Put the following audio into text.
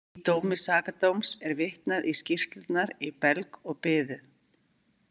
Í dómi Sakadóms er vitnað í skýrslurnar í belg og biðu.